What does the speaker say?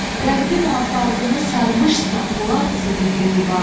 Qərbin afaqını sarmışsa Polad zirehli divar.